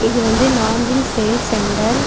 இது வந்து Nanjil sale centre .